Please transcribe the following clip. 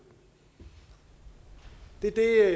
det er